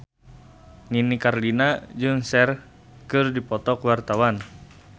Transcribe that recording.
Nini Carlina jeung Cher keur dipoto ku wartawan